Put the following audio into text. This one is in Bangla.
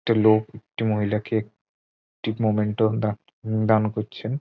একটি লোক একটি মহিলাকে একটি মোমেন্টাম দান উম দান করছেন।